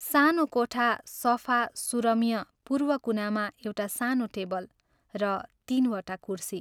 सानो कोठा सफा सुरम्य पूर्व कुनामा एउटा सानो टेबल र तीनवटा कुर्सी।